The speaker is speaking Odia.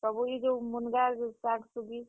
ସବୁ ଇ ଜେନ୍ ମୁନ୍ ଗା, ଶାଗ୍, ଶୁଗି।